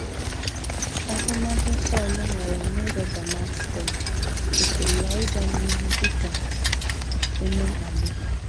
Ahụmahụ Sọl nwere n’ụzọ Damaskọs kwụsịrị ya ịga n’ihu dị ka onye mkpagbu.